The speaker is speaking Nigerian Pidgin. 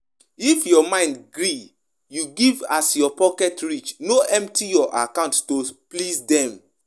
No lis ten to pastor wey de try put fear or use trick to collect money from pipo